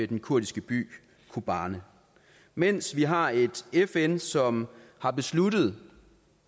den kurdiske by kobani mens vi har et fn som har besluttet